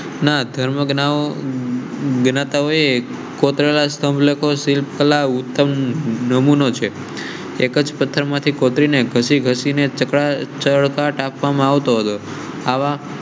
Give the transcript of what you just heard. ધર્મ એક કોતરા સમ લોકો શિલ્પ કલા ઉત્તમ નમૂ નો છે. એક જ પથ્થર માંથી કોતરીને ઘસી ઘસી ને છકડા ચળકાટ આપવામાં આવતો હતો.